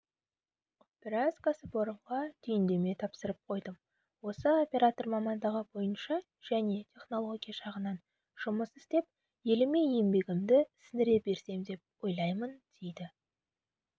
біраз кәсіпорынға түйіндеме тапсырып қойдым осы оператор мамандығы бойынша және технология жағынан жұмыс істеп еліме еңбегімді сіңіре берсем деп ойлаймын дейді